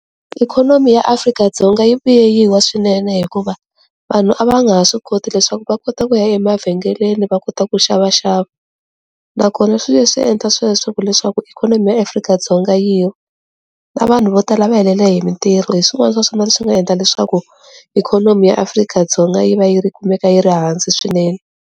Ikhonomi ya Afrika-Dzonga yi vuye yiwa swinene hikuva vanhu a va a nga ha swi koti leswaku va kota ku ya emavhengeleni va kota ku xava xava nakona swi leswi endla sweswo ku leswaku ikhonomi ya Afrika-Dzonga yi wa na vanhu vo tala va helele hi mitirho hi swin'wana swa swona leswi nga endla leswaku ikhonomi ya Afrika-Dzonga yi va yi ri kumeka yi ri hansi swinene.